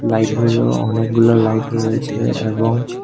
লাইটগুলো অনেকগুলো লাইট রয়েছে এবং--